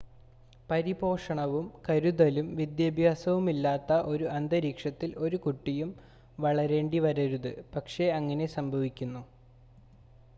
പരിപോഷണവും കരുതലും വിദ്യാഭ്യാസവുമില്ലാത്ത ഒരു അന്തരീക്ഷത്തിൽ ഒരു കുട്ടിയും വളരേണ്ടിവരരുത് പക്ഷേ അങ്ങനെ സംഭവിക്കുന്നു